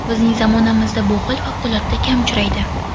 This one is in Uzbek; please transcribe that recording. Bizning zamonamizda bu hol favqulodda kam uchraydi.